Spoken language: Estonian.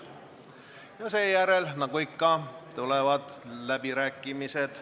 Ja seejärel, nagu ikka, tulevad läbirääkimised.